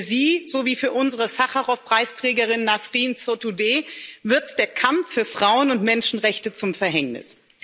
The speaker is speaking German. Für sie sowie für unsere Sacharow Preisträgerin Nasrin Sotudeh wird der Kampf für Frauen und Menschenrechte zum Verhängnis.